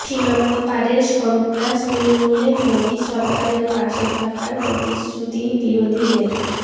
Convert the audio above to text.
সীমান্তপারের সন্ত্রাস নির্মূলে মোদী সরকারের পাশে থাকার প্রতিশ্রুতি বিরোধীদের